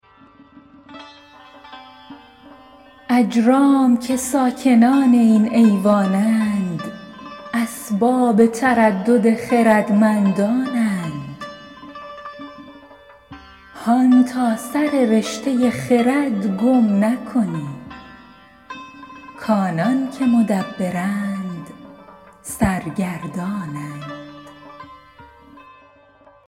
اجرام که ساکنان این ایوان اند اسباب تردد خردمندان اند هان تا سر رشته خرد گم نکنی کآنان که مدبرند سرگردان اند